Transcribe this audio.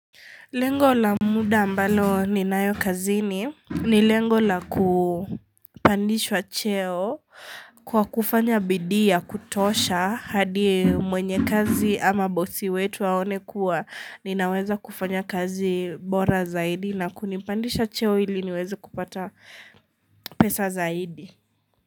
Lengo la muda ambalo ni nayokazini ni lengo la kupandishwa cheo kwa kufanya bidii kutosha hadi mwenye kazi ama boss wetu aone kuwa ninaweza kufanya kazi bora zaidi na kunipandisha cheo ili niweze kupata pesa zaidi.